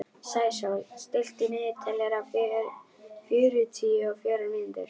Sæsól, stilltu niðurteljara á fjörutíu og fjórar mínútur.